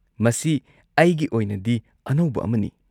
ꯃꯁꯤ ꯑꯩꯒꯤ ꯑꯣꯏꯅꯗꯤ ꯑꯅꯧꯕ ꯑꯃꯅꯤ꯫